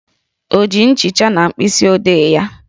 O ji nchicha na mkpịsị odee ya?